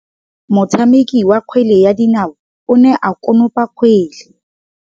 Motshameki wa kgwele ya dinaô o ne a konopa kgwele.